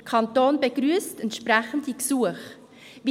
Der Kanton begrüsst entsprechende Gesuche.